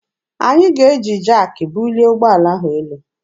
Anyị ga-eji jaakị bulie ụgbọala ahụ elu.